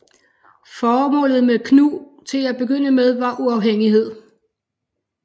Formålet med KNU til at begynde med var uafhængighed